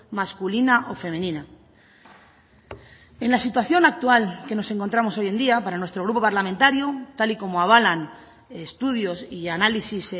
masculina o femenina en la situación actual que nos encontramos hoy en día para nuestro grupo parlamentario tal y como avalan estudios y análisis